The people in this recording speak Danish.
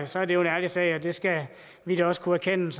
så er det en ærlig sag det skal vi da også kunne erkende